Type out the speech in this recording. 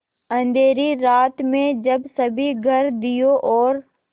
अँधेरी रात में जब सभी घर दियों और